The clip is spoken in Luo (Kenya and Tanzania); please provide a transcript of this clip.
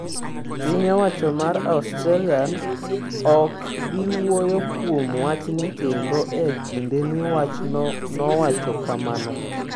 “Piny owacho (mar Australia) ok bi wuoyo kuom wachni kendo e kindeni,” wachno nowacho kamano.